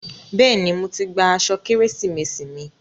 Bẹ́ẹ̀ni, mo ti gba aṣọ Kérésìmesì mi.